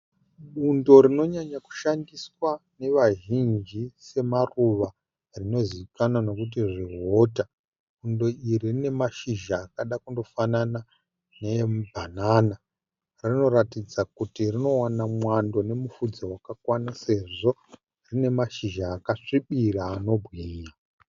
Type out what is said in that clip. Bundo rinonyanya kushandiswa nevazhinji semaruva rinozivikanwa nekuti zvihuta. Bundo iri rine mashizha akada kundofanana neemu bhanana. Rinoratidza kuti rinowana mwando nemupfudze wakakwana sezvo rine mashizha akasvibira anobwinya.